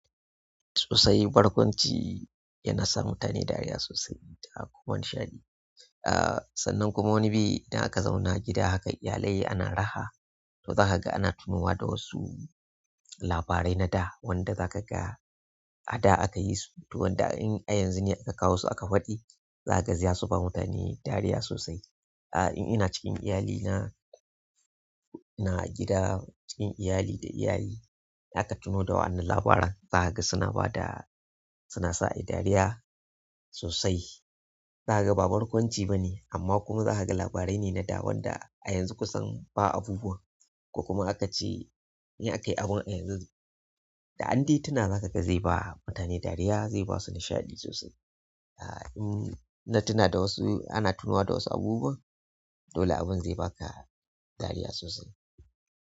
Tusai barkwanci yana sa mutane dariya sosai da kuma nishaɗi. Ah, sannan kuma wani bi idan aka zauna gida haka iyalai ana raha, to zaka ga ana tunowa da wasu labarai na da wanda za ka ga a da akayi su. To wanda in a yanzu ne aka kawo su aka faɗi, zaka ga za su ba mutane dariya sosai. Ah, in ina cikin iyalina, ina gida cikin iyali da iyaye, zaka tuno da wannan labaran za ka ga suna ba da, suna sa ai dariya sosai. Zaka ga ba barkwanci bane amma kuma zaka ga labarai ne na da wanda a yanzu kusan ba abubuwan, ko kuma in aka ce, in aka yi abun yanzu, da an dai tuna maka zaka ga zai ba mutane dariya zai sasu nishaɗi sosai. Ah, in na tuna da wasu, ana tunowa da wasu abubuwan, dole abun zai baka dariya sosai.